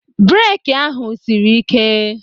Beeki ahụ sịrị ị́ké.